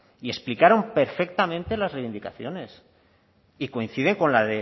y explicaron perfectamente las reivindicaciones y coinciden con la